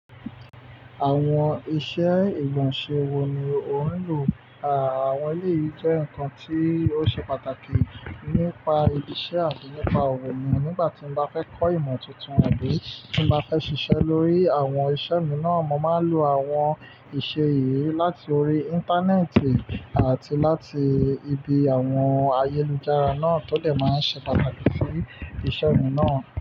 Àwọn iṣẹ́ ìgbọ̀nsẹ̀ wo ni ò ń lò? Àwọn iyí jẹ́ nǹkan tí ó ṣe pàtàkì. Nípa ibi ise àbi nípa owó mi, nígbà tí ń bá fé kò ìmo tuntun àbí tí ń bá fé sísè lórí àwon isé mi náà mo máa lo àwon isé yìí láti òrí Íńtánẹ́ẹ̀tì àti láti ibí àwon ayélujára tó je máa ń se pàtàkì sí isé mi náà.